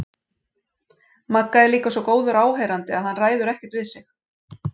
Magga er líka svo góður áheyrandi að hann ræður ekkert við sig.